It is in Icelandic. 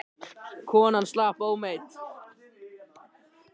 Konan slapp ómeidd.